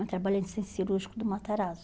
Eu trabalhei no Centro Cirúrgico do Matarazzo.